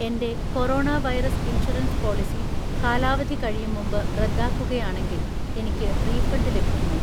എൻ്റെ corona virus insurance policy കാലാവധി കഴിയുംമുമ്പ് റദ്ദാക്കുകയാണെങ്കിൽ എനിക്ക് റീഫണ്ട് ലഭിക്കുമോ